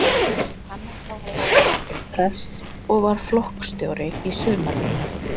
Hann var þá að læra til prests og var flokksstjóri í sumarvinnu.